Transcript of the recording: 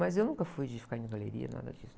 Mas eu nunca fui de ficar em galeria, nada disso.